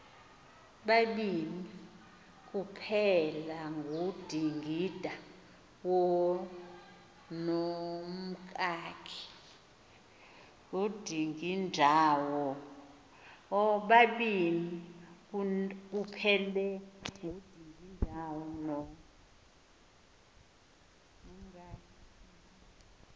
babini kuphelangudingindawo nomkakhe